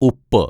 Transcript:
ഉപ്പ്